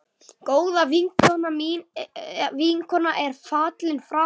Góð vinkona er fallin frá.